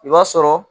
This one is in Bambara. I b'a sɔrɔ